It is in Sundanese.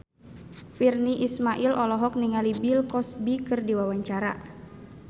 Virnie Ismail olohok ningali Bill Cosby keur diwawancara